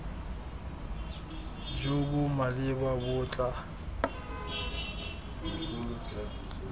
jo bo maleba bo tla